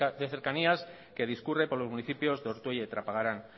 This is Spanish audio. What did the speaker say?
de cercanías que discurre por los municipios de ortuella y trapagarán